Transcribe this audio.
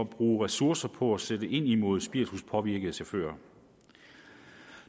bruge ressourcer på at sætte ind imod spirituspåvirkede chauffører